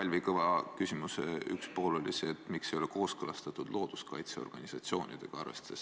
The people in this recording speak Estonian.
Kalvi Kõva küsimuse üks pool oli see, miks ei ole seda kooskõlastatud looduskaitseorganisatsioonidega.